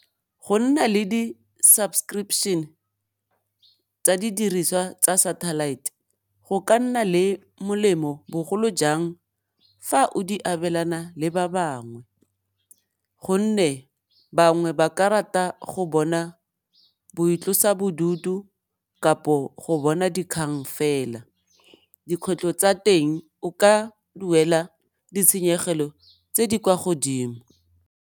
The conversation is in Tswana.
Go nna le di-subscription tsa didiriswa tsa satellite go ka nna le molemo bogolo jang fa o di abelana le ba bangwe, gonne bangwe ba ka rata go bona boitlosabodutu kapo go bona dikgang fela, dikgwetlho tsa teng o ka duela ditshenyegelo tse di kwa godimo.